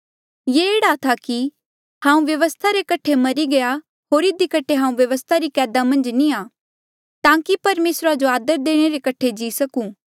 ये एह्ड़ा था कि हांऊँ व्यवस्था रे कठे मरी गया होर इधी कठे हांऊँ व्यवस्था री कैदा मन्झ नी आ ताकि परमेसरा जो आदर देणे रे कठे जी सकूं